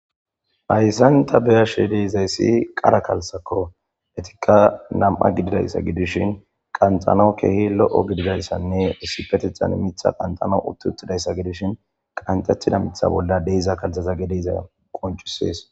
hayssan ta beyashedi izayssi qara kalsakko etikka nam7a gididayssa gidishin qantano kehi lo7o gididayssanne issipetethan mitha qantano uttuttidayssa gidishin qantettida mitha bolla deiza kaltaza gedeyza qoncisees